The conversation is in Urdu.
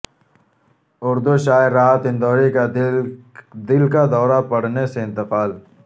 اردو شاعر راحت اندوری کا دل کا دورہ پڑنے سے انتقال